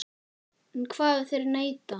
En hvað ef þeir neita?